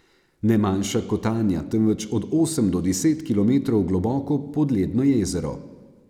Ne manjša kotanja, temveč od osem do deset kilometrov globoko podledno jezero.